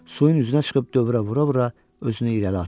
Suyun üzünə çıxıb dövrə vura-vura özünü irəli atır.